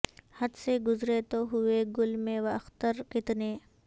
حد سے گزرے تو ہوئے گل مہ و اختر کتنے